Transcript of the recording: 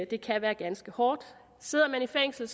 det kan være ganske hårdt sidder man i fængsel